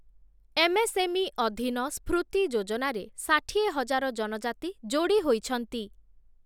MSME ଅଧୀନ ସ୍ଫୃତି ଯୋଜନାରେ ଷାଠିଏ ହଜାର ଜନଜାତି ଯୋଡ଼ି ହୋଇଛନ୍ତି ।